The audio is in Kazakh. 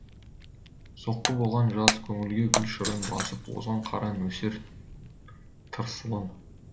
соққы болған жаз көңілге гүл шырын басып озған қара нөсер тырсылын